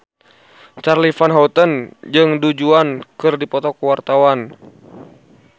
Charly Van Houten jeung Du Juan keur dipoto ku wartawan